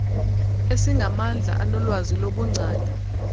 esingamandla anolwazi lobungcali